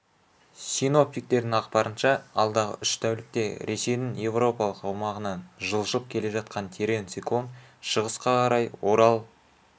синоптиктердің ақпарынша алдағы үш тәулікте ресейдің еуропалық аумағынан жылжып келе жатқан терең циклон шығысқа қарай орал